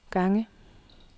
gange